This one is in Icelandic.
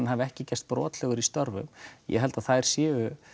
hafi ekki gerst brotlegur í störfum ég held að þær séu